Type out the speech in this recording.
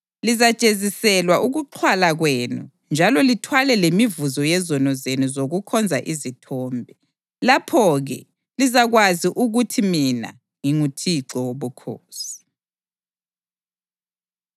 Lizajeziselwa ukuxhwala kwenu njalo lithwale lemivuzo yezono zenu zokukhonza izithombe. Lapho-ke lizakwazi ukuthi mina nginguThixo Wobukhosi.”